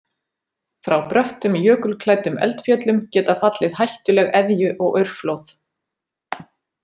Frá bröttum jökulklæddum eldfjöllum geta fallið hættuleg eðju- og aurflóð.